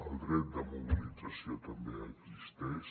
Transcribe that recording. el dret de mobilització també existeix